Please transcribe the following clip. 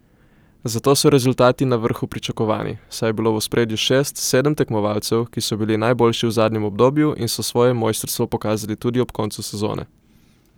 Zato so rezultati na vrhu pričakovani, saj je bilo v ospredju šest, sedem tekmovalcev, ki so bili najboljši v zadnjem obdobju in so svoje mojstrstvo pokazali tudi ob koncu sezone.